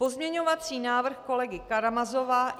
Pozměňovací návrh kolegy Karamazova.